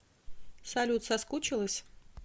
салют соскучилась